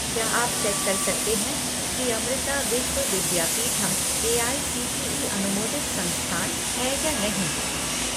क्या आप चेक कर सकते हैं कि अमृता विश्व विद्यापीठम एआईसीटीई अनुमोदित संस्थान है या नहीं?